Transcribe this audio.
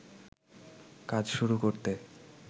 কাজ শুরু করতে